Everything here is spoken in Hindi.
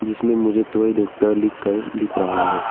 इसमें मुझे दवाई डॉक्टर लिखकर दिख रहा है।